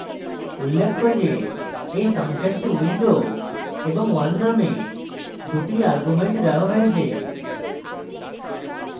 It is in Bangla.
উল্লেখ্য যে এই ফাংশনকে window এবং 1 নামক দুটি arguments দেওয়া হয়েছে